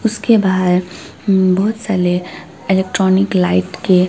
उसके बाहर बहुत सारे इलेक्ट्रॉनिक लाइट के--